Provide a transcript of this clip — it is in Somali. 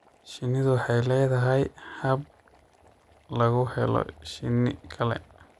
Shinnidu waxay leedahay hab lagu helo shinni kale.